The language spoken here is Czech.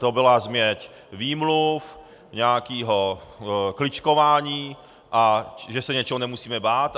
To byla změť výmluv, nějakého kličkování a že se něčeho nemusíme bát...